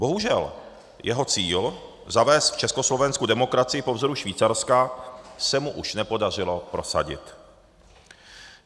Bohužel jeho cíl zavést v Československu demokracii po vzoru Švýcarska se mu už nepodařilo prosadit.